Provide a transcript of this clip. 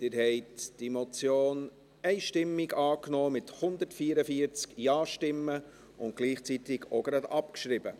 Sie haben diese Motion mit 144 Ja-Stimmen einstimmig angenommen und gleichzeitig auch gleich abgeschrieben.